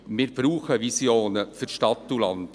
Wir brauchen Visionen für Stadt und Land.